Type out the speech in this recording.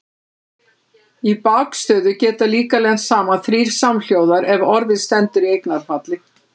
Í bakstöðu geta líka lent saman þrír samhljóðar ef orðið stendur í eignarfalli.